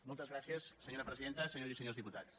moltes gràcies senyora presidenta senyores i senyors diputats